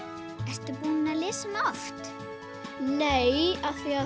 ertu búin að lesa hana oft nei af því